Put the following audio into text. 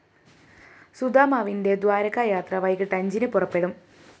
സുദാമാവിന്റെ ദ്വാരകായാത്ര വൈകിട്ട് അഞ്ചിന് പുറപ്പെടും